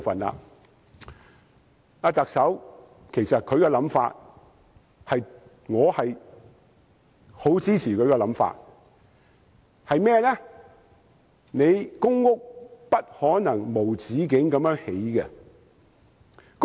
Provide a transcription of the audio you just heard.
我其實十分支持特首的想法，便是不可能無止境地興建公屋。